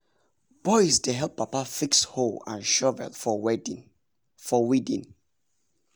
boys dey help papa fix hoe and shovel for weeding.